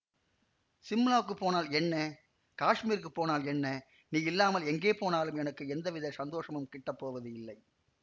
சிம்லாக்குப் போனால் என்ன காஷ்மீருக்குப் போனால் என்ன நீ இல்லாமல் எங்கே போனாலும் எனக்கு எந்தவித சந்தோஷமும் கிட்டப் போவதில்லை